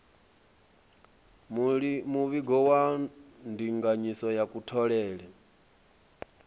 muvhigo wa ndinganyiso ya kutholele